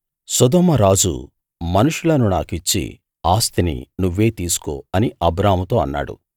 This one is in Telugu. సొదొమ రాజు మనుషులను నాకు ఇచ్చి ఆస్తిని నువ్వే తీసుకో అని అబ్రాముతో అన్నాడు